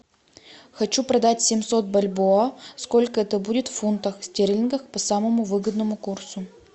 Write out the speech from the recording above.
хочу продать семьсот бальбоа сколько это будет в фунтах стерлингов по самому выгодному курсу